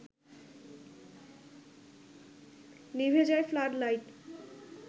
নিভে যায় flood light